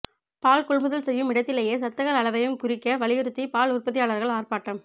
பால் கொள்முதல் செய்யும் இடத்திலேயே சத்துக்கள் அளைவையும் குறிக்க வலியுறுத்தி பால் உற்பத்தியாளர்கள் ஆர்ப்பாட்டம்